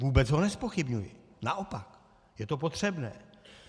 Vůbec ho nezpochybňuji, naopak, je to potřebné.